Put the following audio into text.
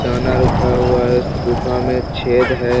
दाना रखा हुआ है । इस गुफा में एक छेद है ।